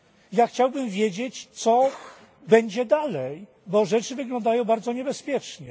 Ja chciałbym wiedzieć, co będzie dalej, bo rzeczy wyglądają bardzo niebezpiecznie.